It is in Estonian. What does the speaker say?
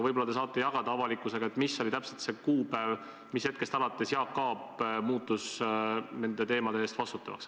Võib-olla saate jagada avalikkusega, mis oli täpselt see kuupäev, millest alates Jaak Aab muutus nende teemade eest vastutavaks.